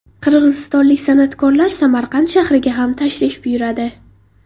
Qirg‘izistonlik san’atkorlar Samarqand shahriga ham tashrif buyuradi.